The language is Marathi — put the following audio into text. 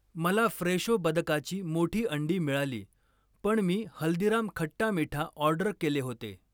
मला फ्रेशो बदकाची मोठी अंडी मिळाली, पण मी हल्दीराम खट्टा मीठा ऑर्डर केले होते.